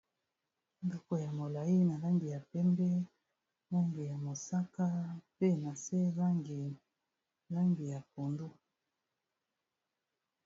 Ndako ya molai na langi ya pembe, langi ya mosaka, mpe na se langi langi ya pondu.